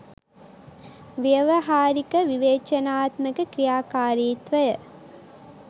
ව්‍යවහාරික විවේචනාත්මක ක්‍රියාකාරීත්වය